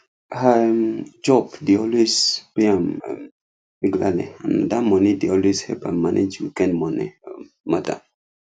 her um job dey always pay am um regularly and na that money dey always help am manage weekend money um matter